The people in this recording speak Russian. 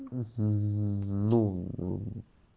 ну